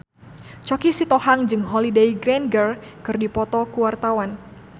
Choky Sitohang jeung Holliday Grainger keur dipoto ku wartawan